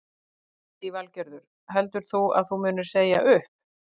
Lillý Valgerður: Heldur þú að þú munir segja upp?